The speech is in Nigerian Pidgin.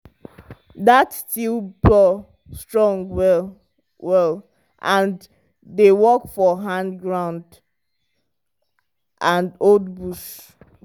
that steel plow strong well-well and dey work for hand ground and old bush.